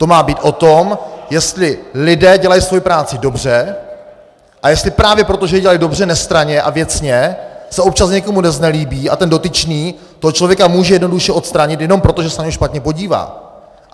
To má být o tom, jestli lidé dělají svoji práci dobře, a jestli právě proto, že ji dělají dobře, nestranně a věcně, se občas někomu neznelíbí a ten dotyčný toho člověka může jednoduše odstranit jenom proto, že se na něj špatně podívá.